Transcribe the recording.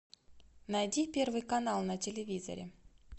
найди первый канал на телевизоре